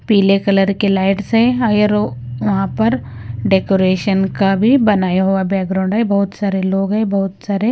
पीले कलर के लाइट से हा येरो वहां पर डेकोरेशन का भी बनाया हुआ बैकग्राउंड है बहुत सारे लोग हैं बहुत सारे--